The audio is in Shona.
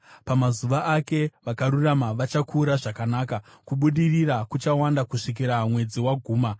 Pamazuva ake vakarurama vachakura zvakanaka; kubudirira kuchawanda kusvikira mwedzi waguma.